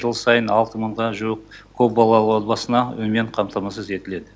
жыл сайын алты мыңға жуық көпбалалы отбасына үймен қамтамасыз етіледі